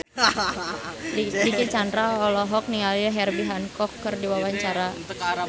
Dicky Chandra olohok ningali Herbie Hancock keur diwawancara